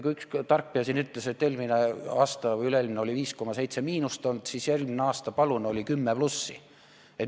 Kui üks tarkpea siin ütles, et eelmine või üle-eelmine aasta oli 5,7% miinust olnud, siis järgmine aasta, palun, oli 10% plussi.